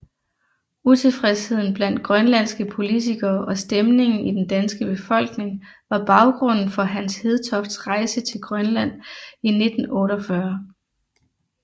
Utilfredsheden blandt grønlandske politikere og stemningen i den danske befolkning var baggrunden for Hans Hedtofts rejse til Grønland i 1948